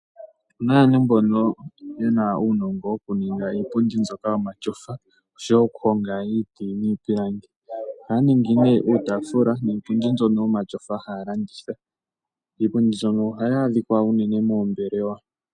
Opena aantu mboka yena uunongo wokuninga iipundi mbono yomatyofa osho woo okuhonga iiti niipilangi ohaya ningi nee iipundi mbyono yomatyofa mbyoka haya landitha. Iipundi mbyono uunene ohayi adhika moombelewa.